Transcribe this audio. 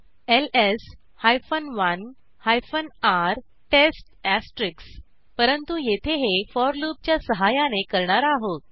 LS 1 R test परंतु येथे हे फोर लूपच्या सहाय्याने करणार आहोत